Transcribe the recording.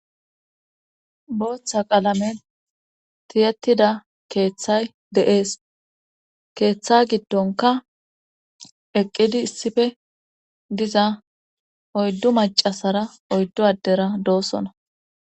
booththa qalamen tiyettida keeththay de'es keeththa giddonka eqqidi issife diza oyddu macasara oyddu addera doosona